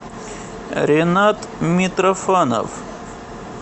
ренат митрофанов